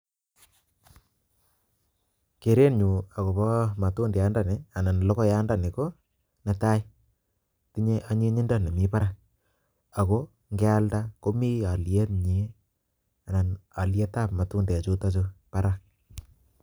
kerenyu akopa matundiani anan logoyandani ko, netai tinyei anyinyindo nemiparak ako ngealda komi alyet nyi ana alyet ap matundek chutachu parak.